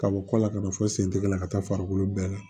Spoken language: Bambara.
Ka bɔ kɔ la ka na fɔ sentigɛ la ka taa farikolo bɛɛ la